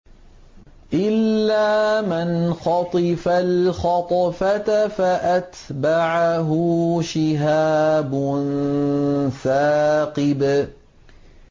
إِلَّا مَنْ خَطِفَ الْخَطْفَةَ فَأَتْبَعَهُ شِهَابٌ ثَاقِبٌ